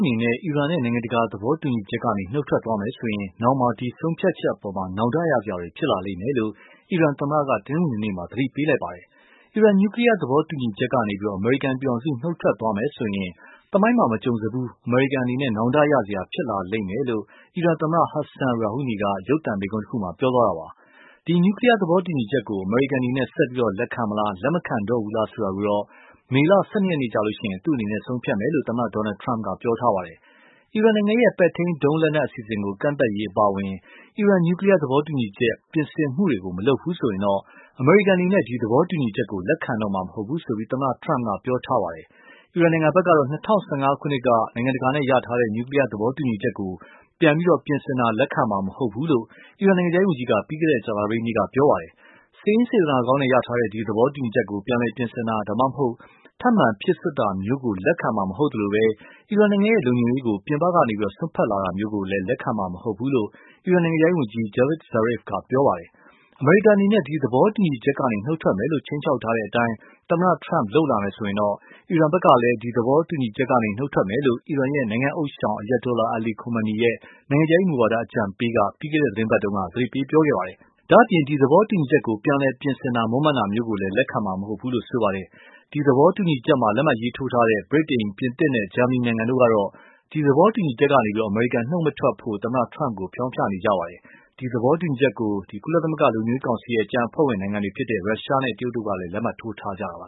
အနေနဲ့ အီရန်နဲ့ နိုင်ငံတကာသဘောတူညီချက်ကနေ နုတ်ထွက်သွားမယ်ဆိုရင်၊ နောက်မှာ ဒီ ဆုံးဖြတ်ချက်အပေါ် နောင်တရစရာဖြစ်လာလိမ့်မယ်လို့ အီရန်သမ္မတက တနင်္ဂနွေနေ့မှာ သတိပေးလိုက်ပါတယ်။ အီရန် နျူကလီယားသဘောတူညီချက်ကနေ အမေရိကန်ပြည်ထောင်စု နုတ်ထွက်သွားမယ်ဆိုရင် သမိုင်းမှာ မကြုံစဖူး အမေရိကန်အနေနဲ့ နောင်တရစရာဖြစ်လာလိမ့်မယ်လို့ အီရန်သမ္မတ Hassan Rouhani က ရုပ်သံမိန့်ခွန်းတခုမှာ ပြောသွားတာပါ။ ဒီ နျူကလီယားသဘောတူညီချက်ကို အမေရိကန်အနေနဲ့ ဆက်ပြီး လက်ခံမလား လက်မခံတော့ဘူးလားဆိုတာကို မေလ ၁၂ ရက်နေ့ကျရင် သူ့အနေနဲ့ ဆုံးဖြတ်မယ်လို့ သမ္မတ Donald Trump က ပြောထားပါတယ်။ အီရန်ရဲ့ ပဲ့ထိန်းဒုံးလက်နက်အစီအစဉ်ကို ကန့်သတ်ဖို့အပါအဝင် အီရန် နျူကလီယားသဘောတူညီချက် ပြင်ဆင်မှုတွေ မလုပ်ဘူးဆိုရင် အမေရိကန်အနေနဲ့ ဒီ သဘောတူညီချက်ကို လက်ခံတော့မှာမဟုတ်ဘူးလို့ သမ္မတ Trump က ပြောထားပါတယ။် အီရန်ဖက်ကတော့ ၂၀၁၅ ခုနှစ်က နိုင်ငံတကာနဲ့ ရထားတဲ့ နျူကလီယားသဘောတူညီချက်ကို ပြန်ပြင်ဆင်တာ လက်ခံမှာ မဟုတ်ဘူးလို့ အီရန်နိုင်ငံခြားရေးဝန်ကြီးက ပြီးခဲ့တဲ့ ကြာသပတေးနေ့က ပြောခဲ့ပါတယ်။ စိတ်ရင်းစေတနာကောင်းတဲ့ ရထားတဲ့ ဒီ သဘောတူညီချက်ကို ပြန်လည်ပြင်ဆင်တာ ဒါမှမဟုတ် ထပ်မံဖြည့်စွတ်တာမျိုးကို လက်ခံမှာမဟုတ်ဘူးလို့ အီရန်နိုင်ငံ လုံခြုံရေးကို ပြင်ပကစွတ်ဖက်လာတာမျိုးလည်း လက်ခံမှာ မဟုတ်ဘူးလို့ အီရန်နိုင်ငံခြားရေးဝန်ကြီး Javd Zarif က ပြောခဲ့တာပါ။ အမေရိကန်အနေနဲ့ ဒီ သဘောတူညီချက်ကနေ နုတ်ထွက်မယ်လို့ ခြိမ်းခြောက်ထားတဲ့အတိုင်း သမ္မတ Trump က လုပ်လာမယ်ဆိုရင် ၊ အီရန်ဖက်ကတည်း ဒီသဘောတူညီချက်ကနေ နုတ်ထွက်မယ်လိုပ အီရန်ရဲ့နိုင်ငံဥသျှောင် Ayatollah Ali Khamenei ရဲ့ နိုင်ငံခြားရေးမူဝါဒအကြံပေးက ပြီးခဲ့တဲ့ သီတင်းပတ်တုန်းက သတိပေးခဲ့ပါတယ်။ ဒါ့အပြင် ဒီ သဘောတူညီချက်ကို ပြန်လည်ပြင်ဆင် မွန်းမံတာမျိုးလည်း လက်ခံမှာမဟုတ်ဘူးလို့ ဆိုခဲ့ပါတယ်။ ဒီ သဘောတူညီချက်မှာ လက်မှတ်ထိုးထားတဲ့ ဗြိတိန် ပြင်သစ်နဲ့ဂျာမဏီနိုင်ငံတို့ကတော့ ဒီ သဘောတူညီချက်ကနေ အမေရိကန် မနုတ်ထွက်ဖို့ သမ္မတ Trump ကို ဖျောင်းဖျနေကြပါတယ်။ ဒီ သဘောတူညီချက်ကို ကုလ လုံခြုံရေးကောင်စီရဲ့ ကျန်အဖွဲ့ဝင်နိုင်ငံတွေဖြစ်တဲ့ ရုရှားနဲ့ တရုတ်တို့ကလည်း လက်မှတ်ထိုးထားကြတာပါ